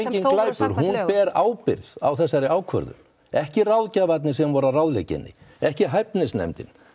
sem þó voru samkvæmt lögum ber ábyrgð á þessari ákvörðun ekki ráðgjafarnir sem voru að ráðleggja henni ekki hæfnisnefndin